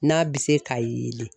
N'a bi se ka yeelen